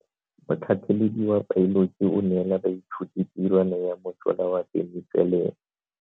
Motlhatlhaledi wa baeloji o neela baithuti tirwana ya mosola wa peniselene.